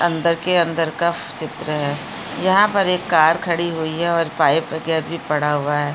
अंदर के अंदर का चित्र है यहाँ पर एक कार खड़ी हुई है और पाइप के भी पड़ा हुआ है।